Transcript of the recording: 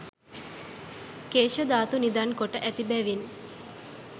කේශධාතු නිධන් කොට ඇති බැවින්